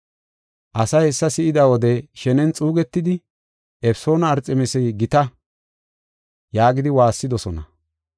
Asay hessa si7ida wode shenen xuugetidi, “Efesoona Arxemisa gita” yaagidi waassidosona.